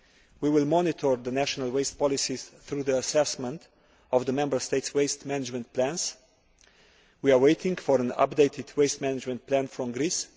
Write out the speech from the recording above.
We will monitor the national waste policies through the assessment of the Member States' waste management plans. We are waiting for an updated waste management plan from Greece.